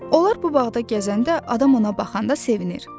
Onlar bu bağda gəzəndə adam ona baxanda sevinir.